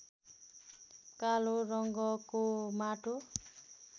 कालो रङ्गको माटो